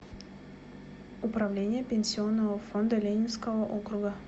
управление пенсионного фонда ленинского округа